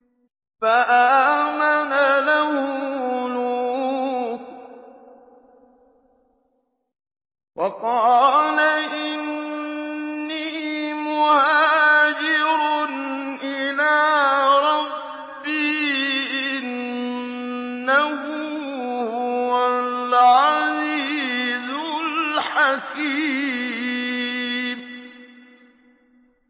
۞ فَآمَنَ لَهُ لُوطٌ ۘ وَقَالَ إِنِّي مُهَاجِرٌ إِلَىٰ رَبِّي ۖ إِنَّهُ هُوَ الْعَزِيزُ الْحَكِيمُ